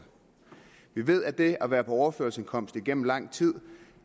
vi ved at det at være på overførselsindkomst igennem lang tid